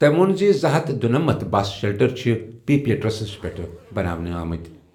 تٔمۍ ووٚن زِ زٕ ہتھ دُنمتھ بس شیلٹر چھِ پی پیٹرنَس پٮ۪ٹھ بناونہٕ آمٕتۍ۔